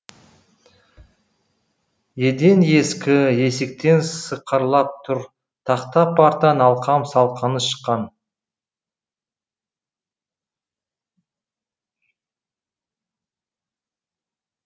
еден ескі есіктер сықырлап тұр тақта партаның алқам салқамы шыққан